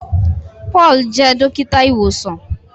Paul jẹ dókítà ìwòsàn.